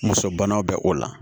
Muso banaw bɛ o la